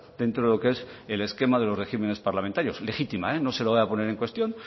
dentro de lo que es el esquema de los regímenes parlamentarios legítima no se lo voy a poner en cuestión